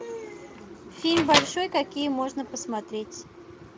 фильм большой какие можно посмотреть